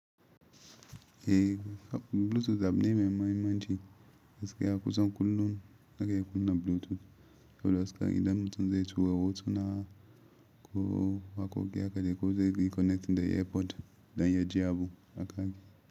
Eh Bluetooth abu ne mai muhimmanci, gaskiya kusan kullum nakan iya kunna Bluetooth idan mutum zai tura hotuna ko wakoki haka de ko zai connect da airpod dan ya ji abu aka yi.